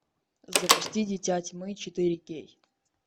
запусти дитя тьмы четыре кей